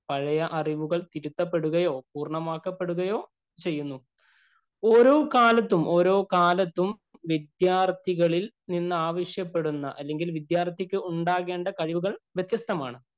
പഴയ അറിവുകള്‍ തിരുത്തപ്പെടുകയോ, പൂര്‍ണ്ണമാക്കപ്പെടുകയോ ചെയ്യുന്നു. ഓരോ കാലത്തും, ഓരോ കാലത്തും വിദ്യാര്‍ത്ഥികളില്‍ നിന്നാവശ്യപ്പെടുന്ന, അല്ലെങ്കില്‍ വിദ്യാര്‍ത്ഥിക്ക് ഉണ്ടാകേണ്ട കഴിവുകള്‍ വ്യത്യസ്തമാണ്.